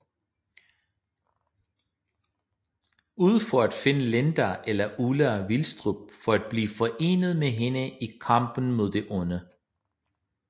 Ud for at finde Linda eller Ulla Vilstrup for at blive forenet med hende i kampen mod det Onde